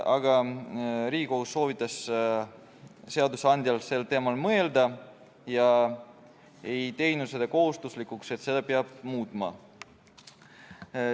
Aga Riigikohus soovitas seadusandjal sel teemal mõelda ega teinud kohustuslikuks, et seda peab muutma.